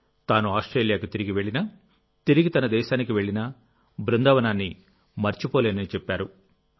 తాను ఆస్ట్రేలియాకు తిరిగి వెళ్ళినా తిరిగి తన దేశానికి వెళ్ళినాబృందావనాన్నిమరచిపోలేనని చెప్పారు